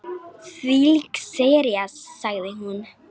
Þvílík sería sagði hún.